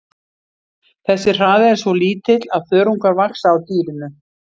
Þessi hraði er svo lítill að þörungar vaxa á dýrinu.